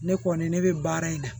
Ne kɔni ne bɛ baara in na